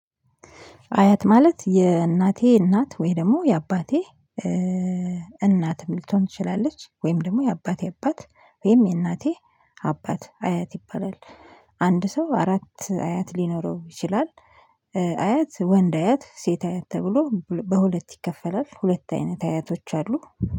አያት ማለት የእናቴ እናት፤ ወይ ደግሞ የአባቴ እናትም ልትሆን ትችላለች፤ ወይም ደግሞ የአባቴ አባት፤ ወይም የእናቴ አባት አያት ይባላል። አንድ ሰው አራት አያት ሊኖረው ይችላል። አያት ወንድ አያት ሴት አያት ተብሎ በሁለት ይከፈላል። ሁለት አይነት አያቶች አሉ።